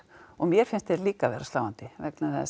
og mér finnst þær líka vera sláandi vegna þess